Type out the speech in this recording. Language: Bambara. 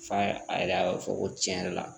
F'a a yɛrɛ a b'a fɔ ko tiɲɛ yɛrɛ la